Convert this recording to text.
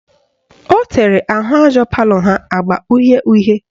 Ọ tere ahụaja palọ ha agba uhie uhie